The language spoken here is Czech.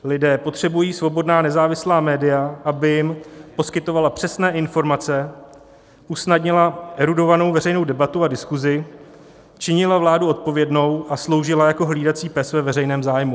Lidé potřebují svobodná nezávislá média, aby jim poskytovala přesné informace, usnadnila erudovanou veřejnou debatu a diskuzi, činila vládu odpovědnou a sloužila jako hlídací pes ve veřejném zájmu."